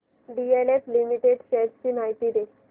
DLF limited shares ची माहिती दे